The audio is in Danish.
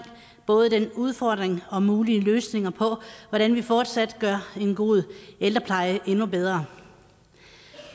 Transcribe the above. både udfordringen i og mulige løsninger på hvordan vi fortsat gør en god ældrepleje endnu bedre